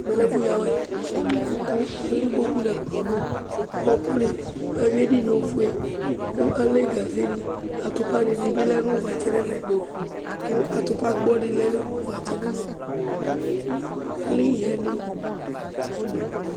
Ɛmɛ lɛ ɛfʊ yawɛ, kʊ alɛ ɩkpokpʊ nʊ ɛkplɔ nʊ ɔkʊnɩ Ayʊi edɩnyɩe ofoe kʊ alɛ gazenɩ Atʊpani bɩ lɛ nʊ ʊvatsɛ nʊ ɛvɛ kʊ atʊpa gbɔ dɩ bɩ lɛ nʊ ʊvatsɛ nʊ ɛfɛ kʊ alɛ iɣɛnɩ